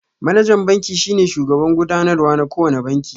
Manajan banki shine shugaban gudanarwa na kowane banki